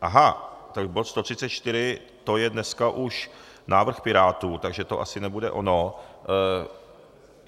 Aha, tak bod 134, to je dneska už návrh Pirátů, takže to asi nebude ono.